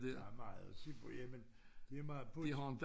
Der er meget at se på jamen det meget pudsigt